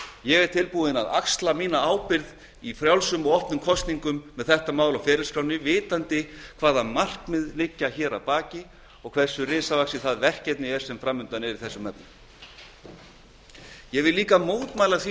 ég er tilbúinn til þess að axla mína ábyrgð í frjálsum og opnum kosningum með þetta mál á ferilskránni vitandi hvaða markmið liggja að baki og hversu risavaxið það verkefni er sem fram undan er í þessum efnum ég vil mótmæla því